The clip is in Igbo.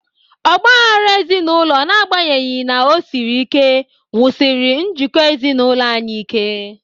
Ọgba aghara ezinụlọ, n'agbanyeghi na o siri ike, wusiri njikọ ezinụlọ anyị ike.